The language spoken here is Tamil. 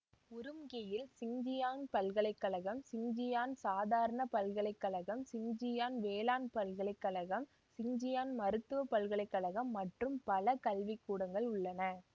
உரும்கியில் சிங்ஜியாங்க் பல்கலைக்கழகம்சிங்ஜியாங்க் சாதரண பல்கலை கழகம் சிங்ஜியாங்க் வேளாண் பல்கலை கழகம் சிங்ஜியாங்க் மருத்துவ பல்கலை கழகம் மற்றும் பல கல்விக்கூடங்கள் உள்ளன